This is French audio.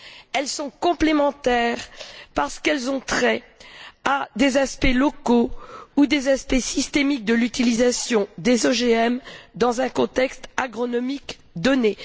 Elles sont complémentaires parce qu'elles ont trait à des aspects locaux ou des aspects systémiques de l'utilisation des OGM dans un contexte agronomique donné.